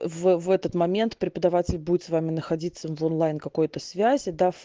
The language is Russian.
в в этот момент преподаватель будет с вами находиться в онлайн какой-то связи дав